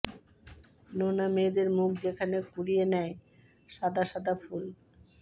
নোনা মেয়েদের মুখ যেখানে কুড়িয়ে নেয় সাদা সাদা ফুল